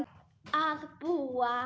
að búa.